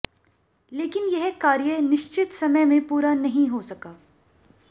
लेकिन यह कार्य निश्चित समय में पूरा नहीं हो सका